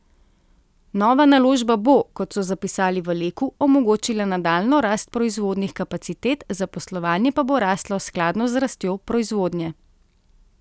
Nova naložba bo, kot so zapisali v Leku, omogočila nadaljnjo rast proizvodnih kapacitet, zaposlovanje pa bo raslo skladno z rastjo proizvodnje.